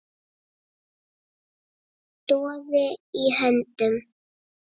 Doði í höndum